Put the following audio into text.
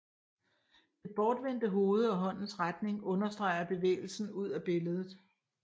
Det bortvendte hoved og håndens retning understreger bevægelsen ud af billedet